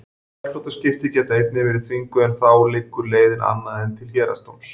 Gjaldþrotaskipti geta einnig verið þvinguð en þá liggur leiðin annað en til héraðsdóms.